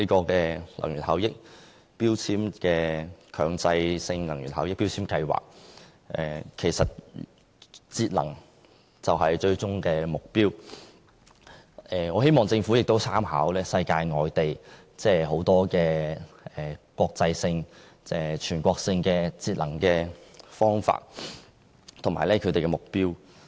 既然強制性標籤計劃的最終目標是節能，我希望政府可參考世界各地的國際性或全國性節能方法和目標。